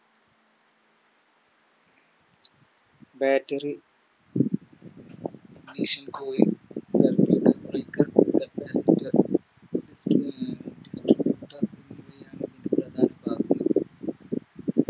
Battery